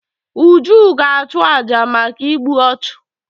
Uju ga-achụ àjà maka igbu ọchụ.